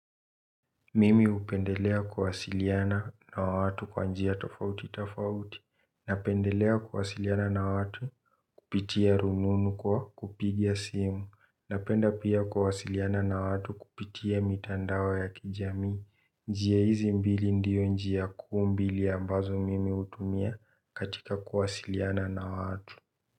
Mimi upendelea kuwasiliana na watu kwa njia tafauti tafauti, napendelea kuwasiliana na watu kupitia rununu kwa kupigia simu, napenda pia kuwasiliana na watu kupitia mitandao ya kijamii njia hizi mbili ndio njia kuu mbili ambazo mimi utumia katika kuwasiliana na watu.